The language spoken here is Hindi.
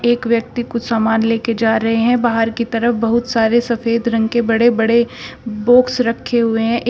एक व्यक्ति कुछ सामान लेकर जा रहे हैं बाहर की तरफ बहोत सारे सफेद रंग के बड़े बड़े बॉक्स रखे हुए हैं एक--